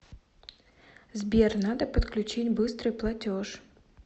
сбер надо подключить быстрый платеж